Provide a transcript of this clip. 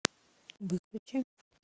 выключи